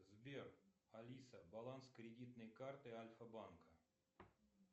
сбер алиса баланс кредитной карты альфа банка